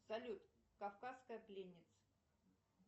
салют кавказская пленница